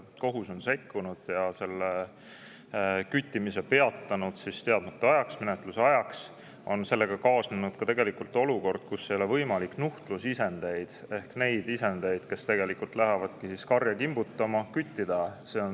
Kohus on sekkunud ja peatanud küttimise teadmata ajaks, menetluse ajaks, ja sellega on kaasnenud olukord, et ei ole võimalik küttida nuhtlusisendeid ehk neid isendeid, kes lähevad karja kimbutama.